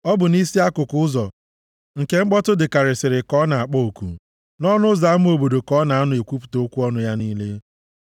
Ọ bụ nʼisi akụkụ ụzọ nke mkpọtụ dịkarịsịrị ka ọ na-akpọ oku, nʼọnụ ụzọ ama obodo ka ọ na-anọ ekwupụta okwu ọnụ ya niile.